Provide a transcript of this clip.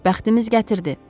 Bəxtimiz gətirdi.